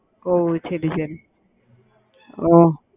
ஒஹ் சரி சரி ஓஹ்